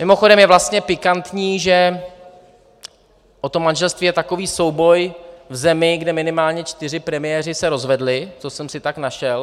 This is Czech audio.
Mimochodem, je vlastně pikantní, že o to manželství je takový souboj v zemi, kde minimálně čtyři premiéři se rozvedli, to jsem si tak našel.